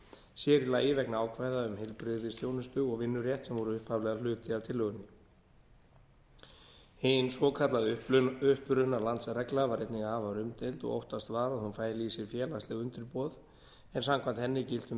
sér í lagi vegna ákvæða um heilbrigðisþjónustu og vinnurétt sem voru upphaflega hluti af tillögunni hin svokallaða upprunalandsregla var einnig afar umdeild og óttast var að hún fæli í sér félagsleg undirboð en samkvæmt henni giltu um